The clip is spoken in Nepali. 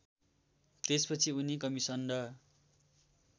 त्यसपछि उनी कमिसन्ड